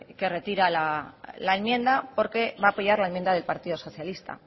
que retira la enmienda porque va a apoyar la enmienda del partido socialista